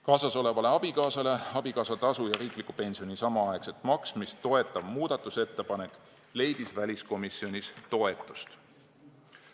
Kaasasolevale abikaasale abikaasatasu ja riikliku pensioni samaaegset maksmist toetav muudatusettepanek leidis väliskomisjonis toetust.